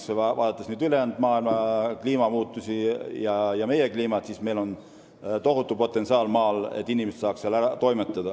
Kui võrrelda kliimamuutusi ülejäänud maailmas ja meie kliimat, siis meil on maal tohutu potentsiaal, selleks et inimesed saaks seal toimetada.